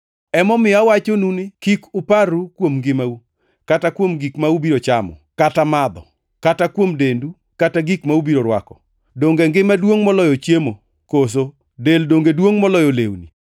“Emomiyo awachonu ni, kik uparru kuom ngimau, kata kuom gik ma ubiro chamo kata madho; kata kuom dendu kata gik ma ubiro rwako. Donge ngima duongʼ moloyo chiemo, koso del donge duongʼ moloyo lewni?